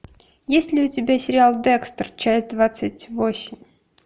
есть ли у тебя сериал декстер часть двадцать восемь